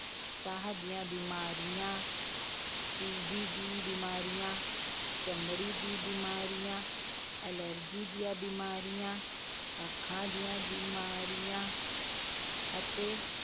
ਸਾਹ ਦੀਆ ਬਿਮਾਰੀਆਂ TB ਦੀ ਬਿਮਾਰੀਆਂ, ਚਮੜੀ ਦੀ ਬਿਮਾਰੀਆਂ, ਐਲਰਜੀ ਦੀਆਂ ਬਿਮਾਰੀਆਂ, ਅੱਖਾਂ ਦੀਆਂ ਬੀਮਾਰੀਆਂ ਅਤੇ